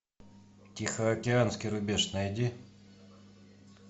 тихоокеанский рубеж найди